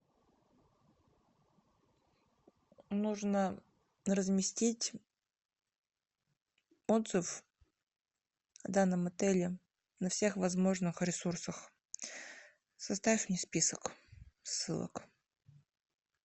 нужно разместить отзыв о данном отеле на всех возможных ресурсах составь мне список ссылок